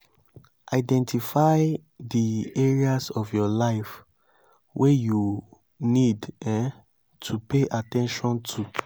identify di areas of your life wey you need um to pay at ten tion to